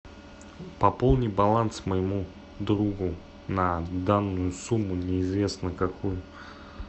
пополни баланс моему другу на данную сумму неизвестно какую